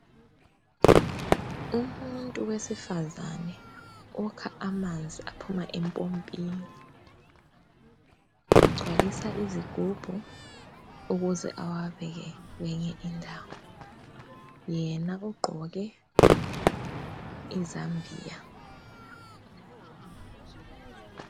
Umuntu wesifazane ukha amanzi aphuma empompini. Ugcwalisa izigubhu ukuze awabeke kwenye indawo. Yena ugqoke izambiya.